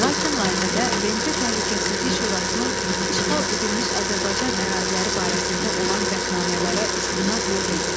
Lakin layihədə BMT Təhlükəsizlik Şurasının işğal edilmiş Azərbaycan əraziləri barəsində olan qətnamələrə istinad yox idi.